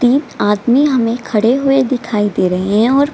तीन आदमी हमें खड़े हुए दिखाई दे रहें हैं और --